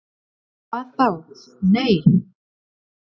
"""Hvað þá., nei."""